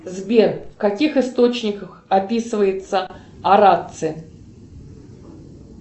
сбер в каких источниках описывается орация